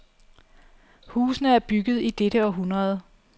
Husene er bygget i dette århundrede.